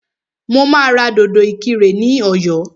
Mo máa ra dòdò ìkirè ní ọ̀yọ́